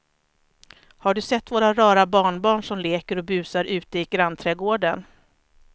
Har du sett våra rara barnbarn som leker och busar ute i grannträdgården!